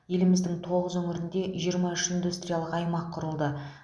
еліміздің тоғыз өңірінде жиырма үш индустриялық аймақ құрылды